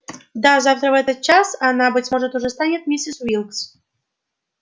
да завтра в этот час она быть может уже станет миссис уилкс